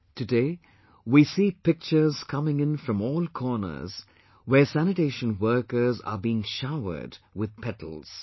Today we see pictures coming in from all corners where sanitation workers are being showered with petals